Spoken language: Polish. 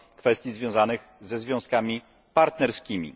w kwestiach związanych ze związkami partnerskimi.